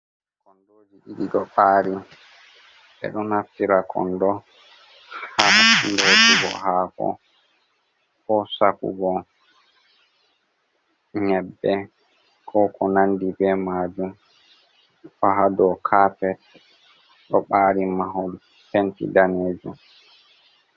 Kondoji ɗidi do ɓari be do naftira kondo ha lotugo hako ,ko sakugo nyebbe ko ko nandi be majum faha do kapet do bari mahol penti danejum.